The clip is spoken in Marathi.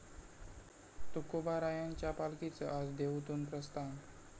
तुकोबारायांच्या पालखीचं आज देहूतून प्रस्थान